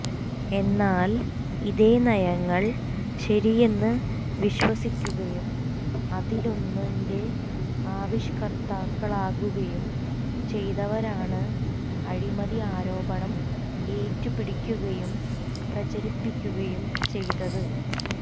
എന്നാൽ ഇതേ നയങ്ങൾ ശരിയെന്ന് വിശ്വസിക്കുകയും അതിലൊന്നിന്റെ ആവിഷ്ക്കർത്താക്കളാകുകയും ചെയ്തവരാണ് അഴിമതി ആരോപണം ഏറ്റുപിടിക്കുകയും പ്രചരിപ്പിക്കുകയും ചെയ്തത്